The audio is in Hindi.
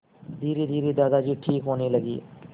धीरेधीरे दादाजी ठीक होने लगे